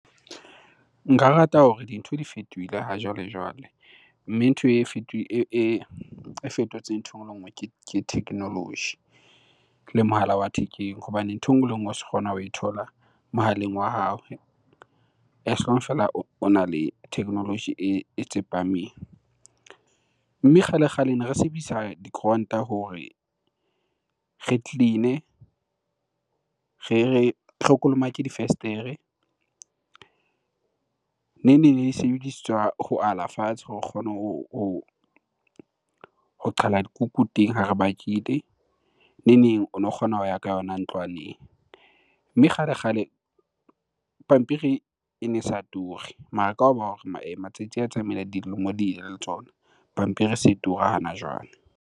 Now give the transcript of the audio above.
Nka rata hore dintho di fetohile hajwale-jwale. Mme ntho e e fetotseng ntho e nngwe le nngwe ke technology le mohala wa thekeng hobane ntho e nngwe le ngwe o so kgona ho e thola mohaleng wa hao as long fela ona le technology e tsepameng. Mme kgale-kgale ne re sebedisa dikoranta hore re clean-e, re kolomake difestere, neng neng ne di sebedisetswa ho ala fatshe hore o kgone ho qhala dikuku teng ha re bakile, neng neng o no kgona ho ya ka yona ntlwaneng. Mme kgale-kgale, pampiri ene sa ture mara ka hoba matsatsi a tsamaile, dilemo di ile le tsona. Pampiri e se tura hana jwale.